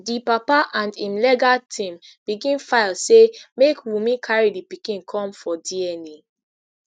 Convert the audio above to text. di papa and im legal team begin file say make wunmi carry di pikin come for dna